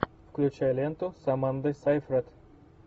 включай ленту с амандой сейфред